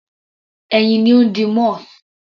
Ẹyin ni ó ń di moth.